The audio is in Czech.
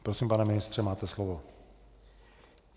Prosím, pane ministře, máte slovo.